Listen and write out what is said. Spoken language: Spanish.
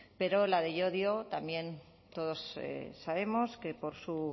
pero la de llodio también todos sabemos que por su